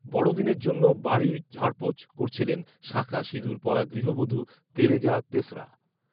বড়দিনের জন্য বাড়ি ঝাড়পোঁছ করছিলেন শাখা সিঁদুর পরা গৃহবধূ তেরেজা তেসরা